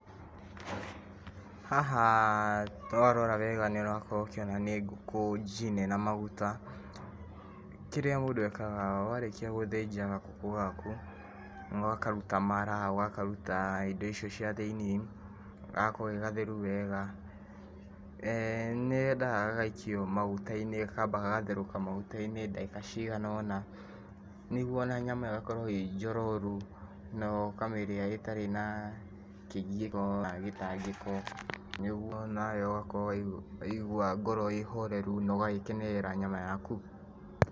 Haha twarora wega nĩũrakorwo ũkĩona nĩ ngũkũ njine na maguta. Kĩrĩa mũndũ ekaga warĩkia gũthĩnja kagũkũ gaku, ũgakaruta mara, ũgakaruta indo icio cia thĩinĩ, gagakorwo ge gatheru wega, nĩyendaga gagaikio maguta-inĩ gakamba gagatherũka maguta-ini ndagĩka cigana ũna. Nĩguo ona nyama ĩyo ĩgakorwo ĩĩ njororu, na ũkamĩria ĩtari na kĩgio kana gĩtangĩko, nĩguo nawe ũgakorwo waigua ngoro ĩĩ horeru na ũgagĩkenerera nyama yaku.